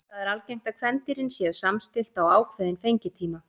Þar er algengt er að kvendýrin séu samstillt á ákveðinn fengitíma.